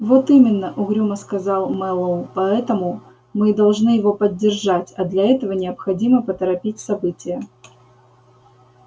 вот именно угрюмо сказал мэллоу поэтому мы и должны его поддержать а для этого необходимо поторопить события